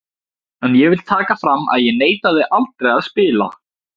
En ég vil taka fram að ég neitaði aldrei að spila.